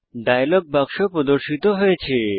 dialogue বাক্স প্রদর্শিত হয়েছে